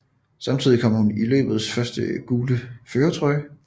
Samtidig kom hun i løbets første gule førertrøje